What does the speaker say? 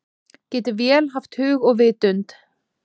Getur vél haft hug og vitund?